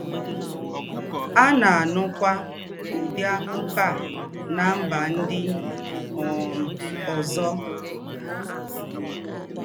À ná-ànúkwá údị́ àkúkọ̀ à nà mbà ńdị́ um ózọ.